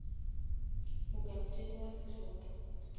mo kapteni wa sehlopa